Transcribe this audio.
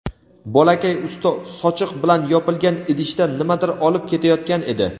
Bolakay usti sochiq bilan yopilgan idishda nimadir olib ketayotgan edi.